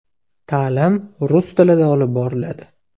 Ta’lim rus tilida olib boriladi.